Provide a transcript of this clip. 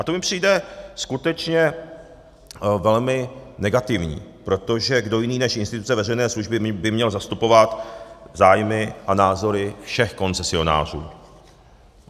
A to mi přijde skutečně velmi negativní, protože kdo jiný než instituce veřejné služby by měl zastupovat zájmy a názory všech koncesionářů.